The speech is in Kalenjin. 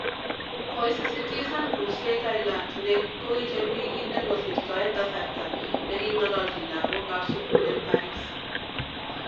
Koisisitisan kurset Ayrault ne koicher wikit ne kosirto eng kasarto ne king'alanchin lagok ab sugul eng Paris